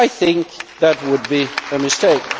I think that would be a mistake.